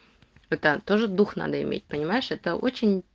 это тоже дух надо иметь понимаешь это очень